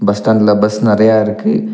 Bus ஸ்டாண்ட்ல bus நெரையா இருக்கு.